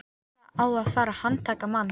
Það á að fara að handtaka mann.